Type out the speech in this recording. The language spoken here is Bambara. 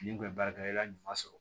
N'i kun ye baara kɛ i ka ɲuman sɔrɔ